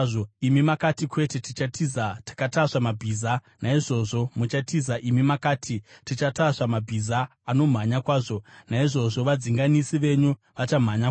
Imi makati, ‘Kwete, tichatiza takatasva mabhiza.’ Naizvozvo muchatiza! Imi makati, ‘Tichatasva mabhiza anomhanya kwazvo.’ Naizvozvo vadzinganisi venyu vachamhanya kwazvo!